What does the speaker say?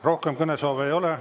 Rohkem kõnesoove ei ole.